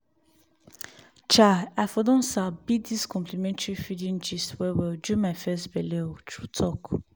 chai i for don sabi dis complementary feeding gist well-well during my first belle o true-talk.